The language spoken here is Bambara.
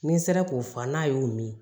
Ni n sera k'o fɔ n'a y'o min